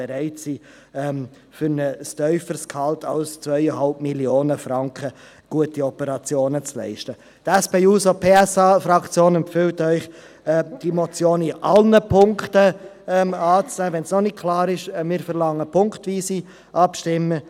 Um ein Signal hinaus in die Welt, an die Spitäler, zu senden, um sie auf die Missstände und Exzesse hinzuweisen.